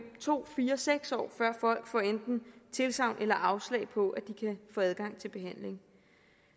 to år fire år seks år før folk får enten tilsagn eller afslag på at de kan få adgang til behandling